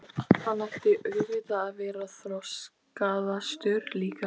Hann ætti auðvitað að vera þroskaðastur líka.